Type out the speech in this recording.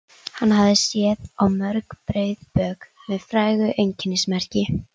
Hann hafði séð á mörg breið bök með frægu einkennismerki.